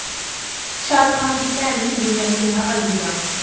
ਸ਼ਾਹਰੁਖ ਖਾਨ ਦੀ ਭੈਣ ਨੇ ਦੁਨੀਆ ਨੂੰ ਕਿਹਾ ਅਲਵਿਦਾ